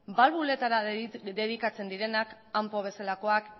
balbuletara dedikatzen direnak ampo bezalakoak